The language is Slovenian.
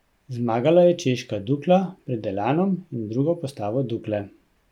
Zmagala je češka Dukla pred Elanom in drugo postavo Dukle.